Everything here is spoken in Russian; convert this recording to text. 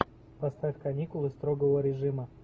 поставь каникулы строгого режима